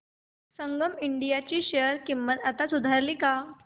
संगम India ची share किंमत आता सुधारली का